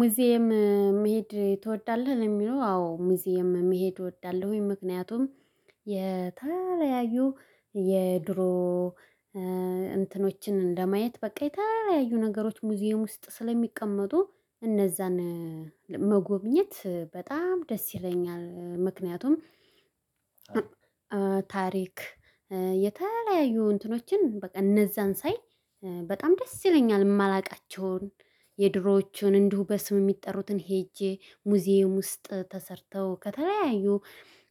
ሙዚየም መሄድ ትወዳለህ? ለሚለው አዎ ሙዚየም መሄድ እወዳለሁኝ ምክንያቱም የተለያዪ የድሮ እንትኖችን እንደማየት በቃ የተለያዩ ነገሮች ሙዚየም ውስጥ ስለሚቀመጡ እነዛን መጎብኘት በጣም ደስ ይለኛል። ምክንያቱም ታሪክ የተለያዩ እንትኖችን በቃ እነዛን ሳይ በጣም ደስ ይለኛል። የማላውቃቸውን የድሮዎችን እንዲሁ በስም የሚጠሩትን ሄጄ ሙዚየም ውስጥ ተሰርተው ከተለያዩ